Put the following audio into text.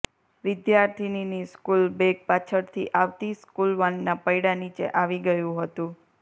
વિદ્યાર્થીનીની school bag પાછળથી આવતી સ્કુલવાનના પૈડાં નીચે આવી ગયું હતું